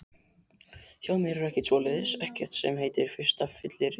Hjá mér er ekkert svoleiðis, ekkert sem heitir fyrsta fylliríið.